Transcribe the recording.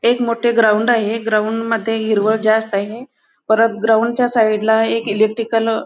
एक मोठे ग्राउंड आहे ग्राउंड मध्ये हिरवळ जास्त आहे परत ग्राउंड च्या साईड इलेक्ट्रिकल --